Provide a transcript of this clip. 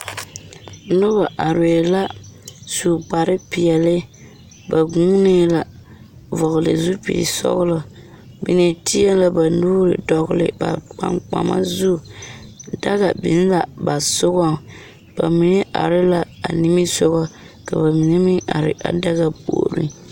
Noba arɛɛ la su kparepeɛle ba guunee la vɔgle zupilisɔglɔ mine teɛ la ba nuuri dɔgle ba kpankpama zu daga biŋ la ba sogɔŋ ba mine are la a nimisogɔ ka ba mine meŋ are a daga puoriŋ.